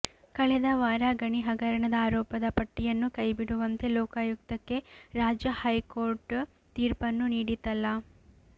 ಕಳೆದ ವಾರ ಗಣಿ ಹಗರಣದ ಆರೋಪದ ಪಟ್ಟಿಯನ್ನು ಕೈ ಬಿಡುವಂತೆ ಲೋಕಾಯುಕ್ತಕ್ಕೆ ರಾಜ್ಯ ಹೈಕೋಟರ್್ ತೀರ್ಪನ್ನು ನೀಡಿತಲ್ಲ